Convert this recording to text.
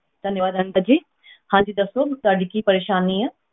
ਧੰਨਵਾਦ ਅਨੀਤਾ ਜੀ ਹਾਂਜੀ ਦੱਸੋ ਤੁਹਾਡੀ ਕੀ ਪਰੇਸਾਨੀ ਹੈ?